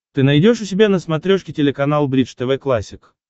ты найдешь у себя на смотрешке телеканал бридж тв классик